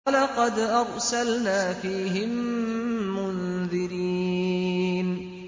وَلَقَدْ أَرْسَلْنَا فِيهِم مُّنذِرِينَ